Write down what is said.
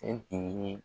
E de ye